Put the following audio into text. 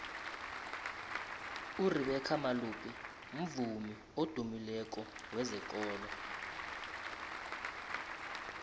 urebeca malope mvumi odumileko wezekolo